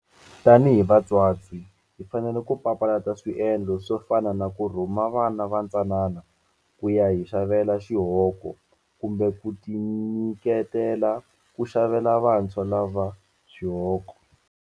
Tanihi vatswatsi hi fanele ku papalata swiendlo swo fana na ku rhuma vana vatsanana ku ya hi xavela xihoko kumbe ku tinyiketela ku xavela vantshwa lava xihoko.